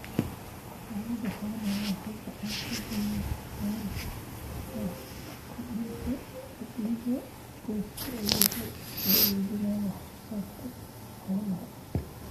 Xanaanada xoolaha waxay gacan ka geysan kartaa kordhinta dakhliga qoyska iyadoo la iibinayo wax soo saarka xoolaha.